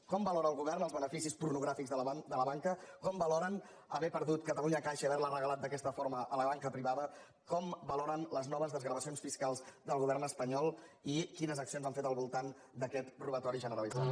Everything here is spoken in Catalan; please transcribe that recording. com valora el govern els beneficis pornogràfics de la banca com valoren haver perdut catalunya caixa i haver la regalat d’aquesta forma a la banca privada com valoren les noves desgravacions fiscals del govern espanyol i quines accions han fet al voltant d’aquest robatori generalitzat